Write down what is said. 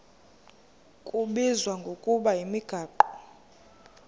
kubizwa ngokuba yimigaqo